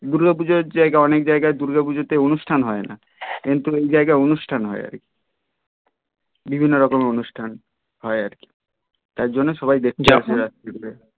দূর্গা পূজার জায়গায় অনেক জায়গায় দূর্গা পূজাতে অনুষ্ঠান হয় না কিন্তু ওই জায়গায় অনুষ্ঠান হয় আর কি বিভিন্ন রকমের অনুষ্ঠান হয় আর কি তাই জন্যই সবাই দেখতে যাই